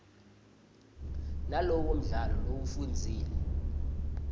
nalowo mdlalo lowufundzile